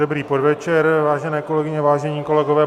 Dobrý podvečer, vážené kolegyně, vážení kolegové.